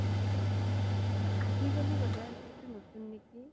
আজিকালি বুধোই এইতো নতুন নেকি